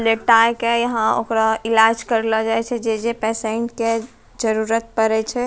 लेटाय के यहां ओकरो इलाज करलो जाय छे जे-जे पेसेंट के जरूत पड़े छे।